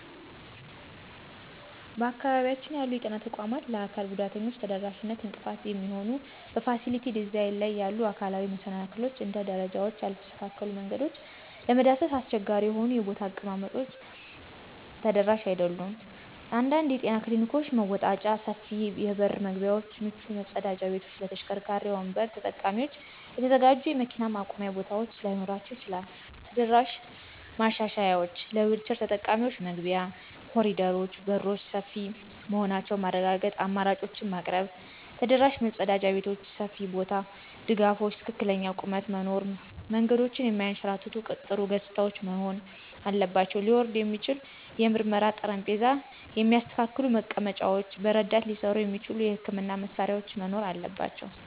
በአካባቢያችን ያሉ የጤና ተቋማት ለአካል ጉዳተኞች ተደራሽነት እንቅፋት የሚሆኑ በፋሲሊቲ ዲዛይን ላይ ያሉ አካላዊ መሰናክሎች - ደረጃዎች፣ ያልተስተካከሉ መንገዶች፣ ለመዳሰስ አስቸጋሪ የሆኑ የቦታ አቀማመጦች ተደራሽ አይደሉም። አንዳንድ የጤና ክሊኒኮች መወጣጫ፣ ሰፊ የበር መግቢያዎች፣ ምቹ መጸዳጃ ቤቶች ለተሽከርካሪ ወንበር ተጠቃሚዎች የተዘጋጁ የመኪና ማቆሚያ ቦታዎች ላይኖራቸው ይችላል። የተደራሽ ማሻሻያዎች - ለዊልቸር ተጠቃሚዎች መግቢያ፣ ኮሪደሮች፣ በሮች ሰፊ መሆናቸውን ማረጋገጥ፣ አማራጮችን ማቅረብ። ተደራሽ መጸዳጃ ቤቶች (ሰፊ ቦታ፣ ድጋፎች፣ ትክክለኛ ቁመት) መኖር። መንገዶች የማያንሸራትቱ፣ ጥሩ ገጽታዎች መሆን አለባቸው። ሊወርድ የሚችል የምርመራ ጠረጴዛ፣ የሚስተካከሉ መቀመጫዎች፣ በረዳት ሊሠሩ የሚችሉ የሕክምና መሳሪያዎች መኖር አለባቸው።